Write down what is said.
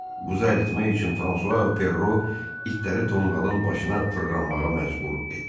Buzu əritmək üçün Fransua və Ferro itləri tonqalın başına fırlanmağa məcbur etdilər.